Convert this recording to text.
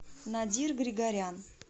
надир григорян